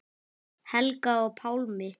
Helga og Pálmi.